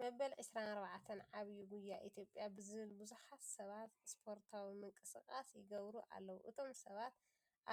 መበል 24 ዕብይ ጉያ ኢትዮጵያ ብዝብል ብዙሓት ሰባት ስፖርታዊ ምንቅስቃስ ይገብሩ ኣለዉ ። እቶም ሰባት